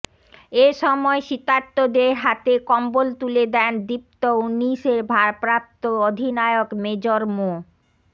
এ সময় শীতার্তদের হাতে কম্বল তুলে দেন দীপ্ত ঊনিশের ভারপ্রাপ্ত অধিনায়ক মেজর মো